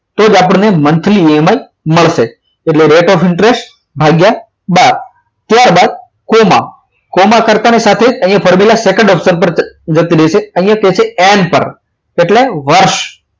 તો જ આપણને monthly એમાંય મળશે એટલે rate of interest ભાગ્યા બાર ત્યારબાદ કોમા કોમા કરતા ની સાથે જ અહીંયા formula second option પર જતી રહેશે અહીંયા એમ પર એટલે વર્ષ